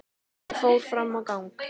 Ég fór fram á gang.